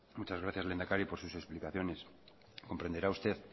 muchas gracias lehendakari por sus explicaciones comprenderá usted